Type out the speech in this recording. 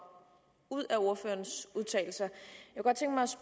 ud af ordførerens udtalelser